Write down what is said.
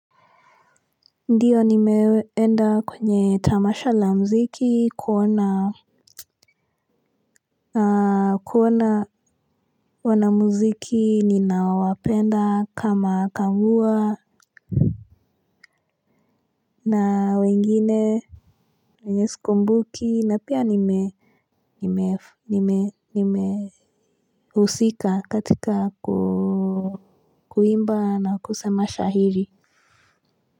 Ndiyo nimeenda kwenye tamasha la mziki kuona. Na kuona wana muziki ninawapenda kama kambua. Na wengine wenyesikumbuki na pia nime nime husika katika ku kuimba na kusema shahiri.